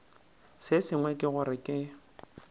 se sengwe ke gore ke